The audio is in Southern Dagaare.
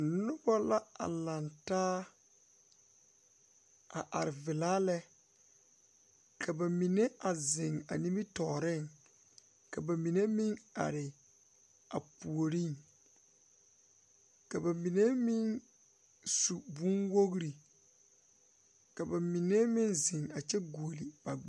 Nobɔ la a laŋ taa a are vilaa lɛ ka ba mine a zeŋ a nimitooreŋ ka ba mine meŋ are a puoriŋ ka ba mine meŋ su bonwogre ka ba mine meŋ zeŋkyɛ guole ba.